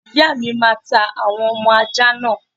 Ìyáàmi máa ta àwọn ọmọ ajá náà.